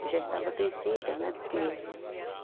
Eu já estava crescida, né? porque